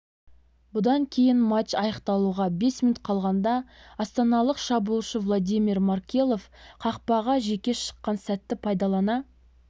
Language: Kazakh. бұдан кейін матч аяқталуға бес минут қалғанда астаналық шабуылшы владимир маркелов қақпаға жеке шыққан сәтті пайдалана